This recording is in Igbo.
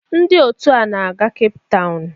Ndị otu a na-aga Cape Town